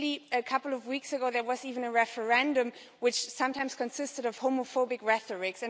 A couple of weeks ago there was even a referendum which sometimes consisted of homophobic rhetoric.